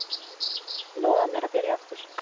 Lofaðu mér að byrja aftur!